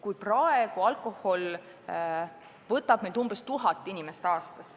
Praegu võtab alkohol meilt umbes tuhat inimest aastas.